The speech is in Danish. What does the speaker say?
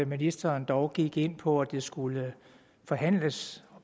ministeren dog gik ind på at det skulle forhandles